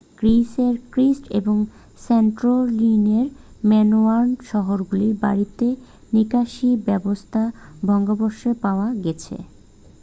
গ্রীসের ক্রিট ও স্যান্টোরিনির মিনোয়ান শহরগুলির বাড়িতে নিকাশী ব্যবস্থার ভগ্নাবশেষ পাওয়া গেছে